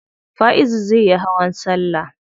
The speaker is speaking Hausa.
Faizu zai yi hawan salla.